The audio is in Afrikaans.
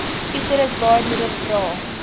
uterus baarmoeder dra